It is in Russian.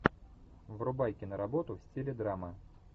врубай киноработу в стиле драма